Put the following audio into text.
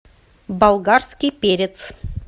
болгарский перец